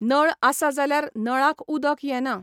नळ आसा जाल्यार नळाक उदक येना.